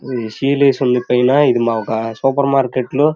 ఇది సీల్ వేసి ఉంది పైన ఇది మాకు ఒక సూపర్ మార్కెట్ లో --